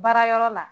Baara yɔrɔ la